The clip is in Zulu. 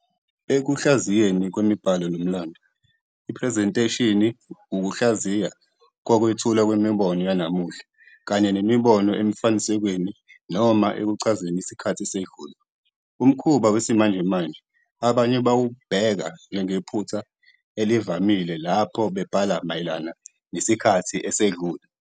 Ekuhlaziyeni kwemibhalo nomlando, iphrezentheshini wukuhlaziya kokwethulwa kwemibono yanamuhla kanye nemibono emifanekisweni noma ekuchazeni isikhathi esedlule. Umkhuba wesimanjemanje abanye bawubheka njengephutha elivamile lapho bebhala mayelana nesikhathi esedlule.